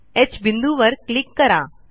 ह बिंदूवर क्लिक करा